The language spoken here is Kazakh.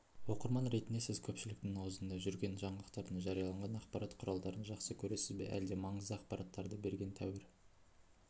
оқырман ретінде сіз көпшіліктің аузында жүрген жаңалықтардың жарияланған ақпарат құралдарын жақсы көресіз бе әлде маңызды ақпараттарды берген тәуір